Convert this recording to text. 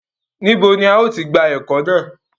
Níbo ni a ó ti gba ẹ́kọ́ náà?